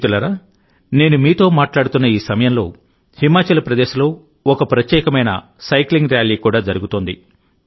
మిత్రులారానేను మీతో మాట్లాడుతున్న ఈ సమయంలోహిమాచల్ ప్రదేశ్లో ఒక ప్రత్యేకమైన సైక్లింగ్ ర్యాలీ కూడా జరుగుతోంది